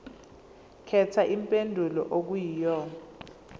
khetha impendulo okuyiyona